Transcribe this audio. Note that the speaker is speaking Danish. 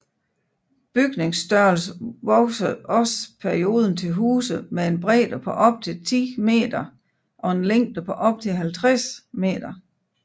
Bygningsstørrelsen voksede også perioden til huse med en bredde på op til 10m og en længde på op til 50m